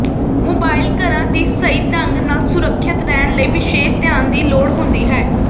mobile ਘਰਾਂ ਦੀ ਸਹੀ ਢੰਗ ਨਾਲ ਸੁਰੱਖਿਅਤ ਰਹਿਣ ਲਈ ਵਿਸ਼ੇਸ਼ ਧਿਆਨ ਦੀ ਲੋੜ ਹੁੰਦੀ ਹੈ